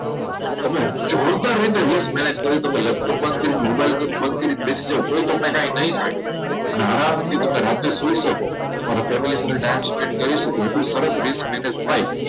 તમે જોતા રહીને simple manage કરો લેપટોપ બંધ કરી મોબાઈલ બેસી જાવ તો પણ કાંઈ તમને નહીં થાય અને આરામથી તમે રાત્રે સુઈ શકો. તમારા family સાથે time spend કરી શકો. શું સરસ risk manage હોય